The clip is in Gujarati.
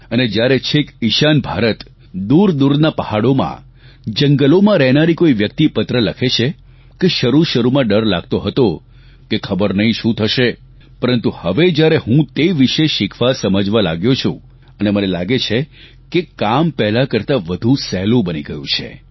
અને જ્યારે છેક ઇશાન ભારત દૂરદૂરના પહાડોમાં જંગલોમાં રહેનારી કોઇ વ્યકિત પત્ર લખે છે કે શરૂશરૂમાં ડર લાગતો હતો કે ખબર નહીં શું થશે પરંતુ હવે જ્યારે હું તે વિષે શીખવા સમજવા લાગ્યો છું અને મને લાગે છે કે કામ પહેલાં કરતાં વધુ સહેલું બની ગયું છે